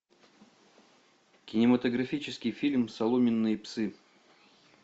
кинематографический фильм соломенные псы